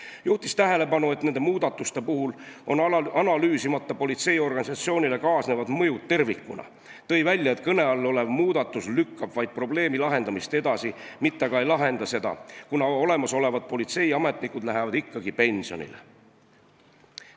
Ta juhtis tähelepanu, et nende muudatuste puhul on analüüsimata politseiorganisatsioonile kaasnevad mõjud tervikuna, ning ütles, et kõne all olev muudatus lükkab vaid probleemi lahendamist edasi, mitte aga ei lahenda seda, kuna olemasolevad politseiametnikud lähevad ikkagi pensionile.